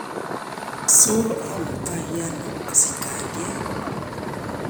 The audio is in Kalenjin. So amutaaiano asich kaliet